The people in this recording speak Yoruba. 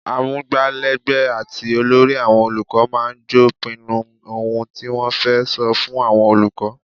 Amugbalegbe àti olórí àwọn olùkọ́ máa ń jọ́ pinnu ohun tí wọ́n fẹ́ sọ fún àwọn olùkọ́.